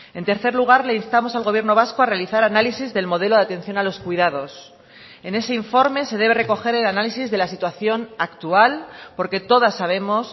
en tercer lugar le instamos al gobierno vasco a realizar análisis del modelo de atención a los cuidados en ese informe se debe recoger el análisis de la situación actual porque todas sabemos